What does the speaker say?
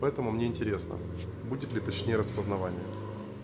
поэтому мне интересно будет ли точнее распознавание